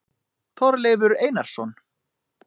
Þorleifur Einarsson.